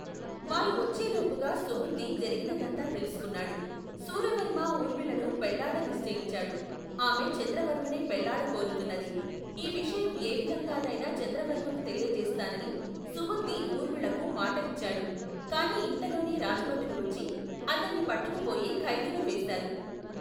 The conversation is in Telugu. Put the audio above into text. వారు వచ్చేలోపుగా సుబుద్ధి జరిగినదంతా తెలుసుకున్నాడు. శూరవర్మ ఊర్మిళను పెళ్ళాడ నిశ్చయించాడు. ఆమె చంద్రవర్మనే పెళ్ళాడ కోరుతున్నది. ఈ విషయం ఏవిధంగానైనా చంద్రవర్మకు తెలియజేస్తానని సుబుద్ధి ఊర్మిళకు మాట ఇచ్చాడు. కాని ఇంతలోనే రాజుభటులు వచ్చి అతన్ని పట్టుకుపోయి ఖైదులోవేశారు.